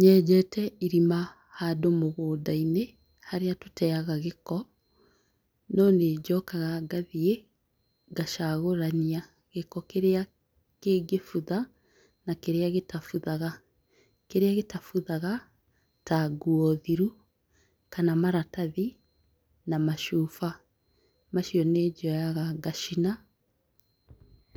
Nyenjete irima handũ magũnda-inĩ harĩa tũteaga gĩko. Nonĩnjokaga ngathiĩ, ngacagũrania gĩko kĩrĩa kĩngĩbutha na kĩrĩa gĩtabuthaga. Kĩrĩa gĩtabuthaga ta nguo thiru kana maratathi na macuba, macio nĩnjoyaga ngacina,